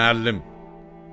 Müəllim!